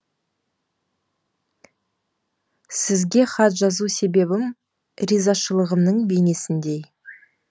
сізге хат жазу себебім ризашылығымның бейнесіндей